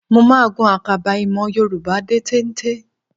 Mo máa gun àkàbà ìmọ̀ Yorùbá dé téńté